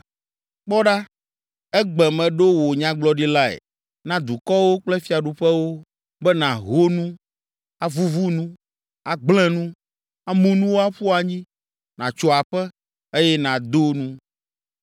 Kpɔ ɖa, egbe meɖo wò nyagblɔɖilae na dukɔwo kple fiaɖuƒewo be nàho nu, avuvu nu, agblẽ nu, amu nuwo aƒu anyi, nàtso aƒe, eye nàdo nu.”